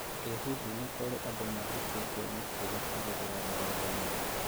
I hihi nĩkũri andũ mathũkĩtio mũtugo kũgerera rurendainĩ?